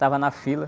Tava na fila.